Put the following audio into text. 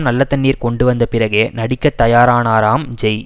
நல்ல தண்ணீர் கொண்டு வந்தபிறகே நடிக்க தயாரானாராம் ஜெய்